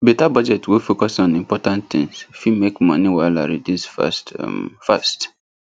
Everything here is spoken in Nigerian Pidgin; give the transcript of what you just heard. better budget wey focus on important things fit make money wahala reduce fast um fast